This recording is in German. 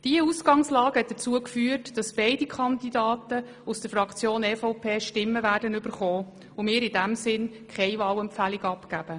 Diese Ausgangslage hat dazu geführt, dass beide Kandidaten aus der Fraktion EVP Stimmen erhalten werden und wir in diesem Sinne keine Wahlempfehlung abgeben.